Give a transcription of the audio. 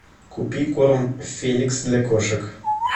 купи корм феликс для кошек